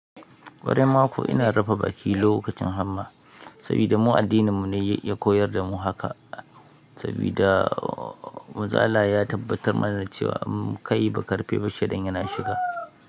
Ƙwarai ma kuwa ina rufe baki lokacin hamma, saboda mu addininmu ne ya koyar da mu haka. Saboda muzala ya tabbatar mana da cewa kai ba ka rufe ba shedan yana shiga.